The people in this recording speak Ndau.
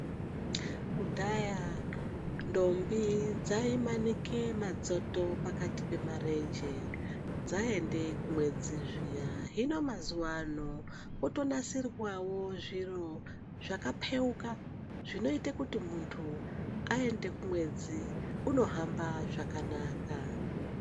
Kudhaya ndombi dzaimanike madzoto pakati pemarenje dzaende kumwedzi zviya, hino mazuwa ano kwoto nasirwawo zviro zvaka peuka zvinoite kuti muntu aende kumwedzi uno hamba zvakanaka.